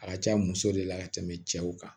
A ka ca muso de la ka tɛmɛ cɛw kan